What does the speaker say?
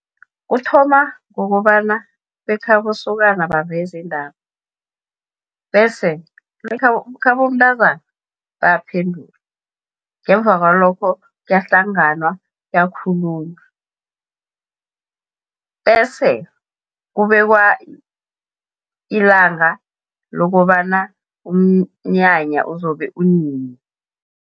Kuthoma ngokobana bekhabo sokana baveze indaba, bese bekhabomntazana bayaphendula, ngemva kwalokho kuyahlanganwa kuyakhulunywa. Bese kubekwa ilanga lokobana umnyanya uzobe unini.